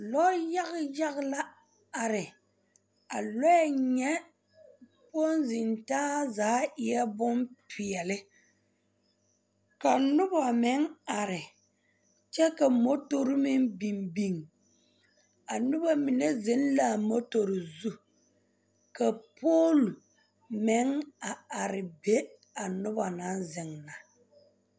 Lɔyaga yaga la are a lɔɛ nya ponsentaa zaa eɛ bompeɛle ka noba meŋ are kyɛ ka mɔtɔre meŋ biŋ biŋ a noba mine zeŋ la a mutter zu ka poolo meŋ are are be noba naŋ zeŋ